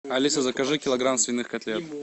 алиса закажи килограмм свиных котлет